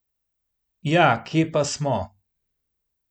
Ja, kje pa smo?